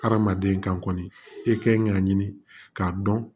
Hadamaden kan kɔni i kan k'a ɲini k'a dɔn